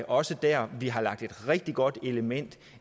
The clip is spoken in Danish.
også der vi har lagt et rigtig godt element